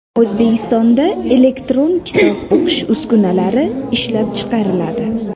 O‘zbekistonda elektron kitob o‘qish uskunalari ishlab chiqariladi.